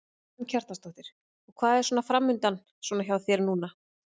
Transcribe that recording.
Karen Kjartansdóttir: Og hvað er svona framundan svona hjá þér núna?